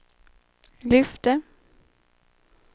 lyfte